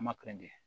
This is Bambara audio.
Ma